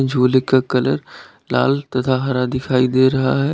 झूले का कलर लाल तथा हरा दिखाई दे रहा है।